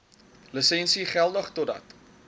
lisensie geldig totdat